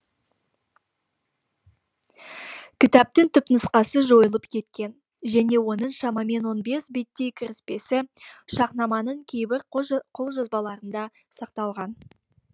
кітаптың түпнұсқасы жойылып кеткен және оның шамамен он бес беттей кіріспесі шахнаманың кейбір қолжазбаларында сақталған